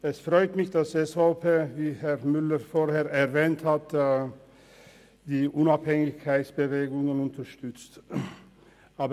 Es freut mich, dass es die Unabhängigkeitsbewegungen unterstützen sollte, wie Herr Müller vorhin erwähnt hat.